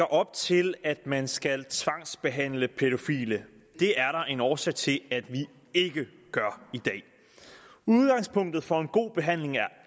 op til at man skal tvangsbehandle pædofile det er en årsag til at vi ikke gør i dag udgangspunktet for en god behandling er